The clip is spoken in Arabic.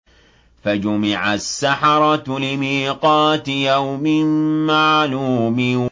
فَجُمِعَ السَّحَرَةُ لِمِيقَاتِ يَوْمٍ مَّعْلُومٍ